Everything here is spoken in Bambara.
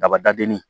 Dabadenni